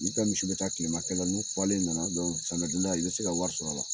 olu ka misi be taa kilema kɛla n'u falen nana dɔrɔn samiya donda la i be se ka wari sɔr'a la